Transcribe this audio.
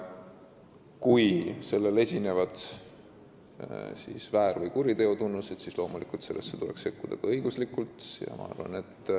Kui sellel esinevad väär- või kuriteo tunnused, siis tuleks sellesse loomulikult ka õiguslikult sekkuda.